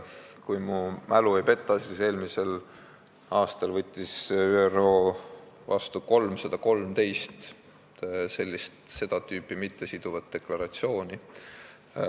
Kui mu mälu ei peta, siis eelmisel aastal võttis ÜRO vastu 313 seda tüüpi, mittesiduvat deklaratsiooni.